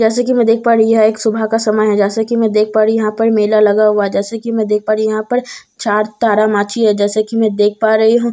जैसा कि मैं देख पा रही हुँ यह एक सुबह का समय है जैसे कि मैं देख पा रही हूं यहां पर मेला लगा हुआ जैसे कि मैं देख पर यहां पर चार तारा माछी है जैसे कि मैं देख पा रही हूं यहां पर साम--